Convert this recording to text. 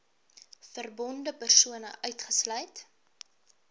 verbonde persone uitgesluit